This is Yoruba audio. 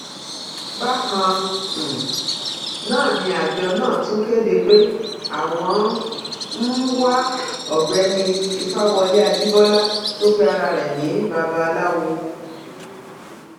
bákan um náà ni àjọ náà tún kéde pé àwọn ń um wá ọgbẹni ìfawọlẹ ajíbọlá tó pe ara rẹ ní babaláwo